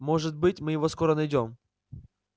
может быть мы его скоро найдём